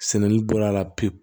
Sɛnɛni bɔra a la pewu